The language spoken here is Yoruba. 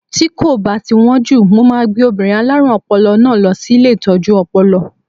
Tí kò bá ti wón jù, mo máa gbé obìnrin alárùn ọpọlọ náà lọ sí ilé Ìtọ́jú Ọpọlọ.